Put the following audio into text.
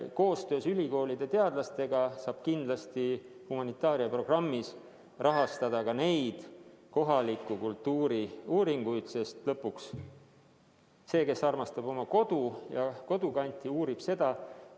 Koostöös ülikoolide teadlastega saab kindlasti humanitaaria programmis rahastada ka neid kohaliku kultuuri uuringuid, sest lõpuks see, kes armastab oma kodu ja kodukanti, uurib seda.